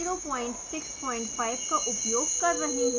pyfoam 065 का उपयोग कर रही हूँ